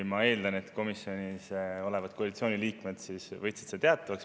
Ma eeldan, et komisjonis olevad koalitsiooni liikmed võtsid selle teatavaks.